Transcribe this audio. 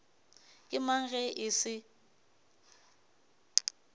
ke mang ge e se